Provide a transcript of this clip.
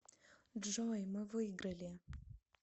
джой мы выиграли